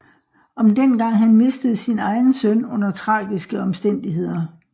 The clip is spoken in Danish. Om dengang han mistede sin egen søn under tragiske omstændigheder